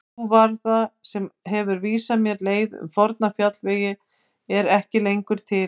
Sú varða sem hefur vísað mér leið um forna fjallvegi er ekki lengur til.